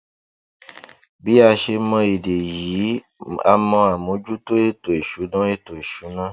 bí a ṣe mọ èdè yìí a mọ àmójútó ètò ìṣúná ètò ìṣúná